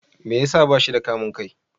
Me ya sa ba shi da kamun kai?